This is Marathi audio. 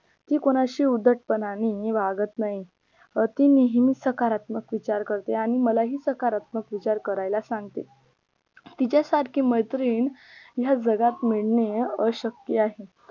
ती कोणाशी उद्धटपणाने वागत नाही अं ती नेहमी सकारात्मक विचार करते आणि मलाही सकारात्मक विचार करायला सांगते तिच्या सारखी मैत्रीण ह्या जगात मिळणं अशक्य आहे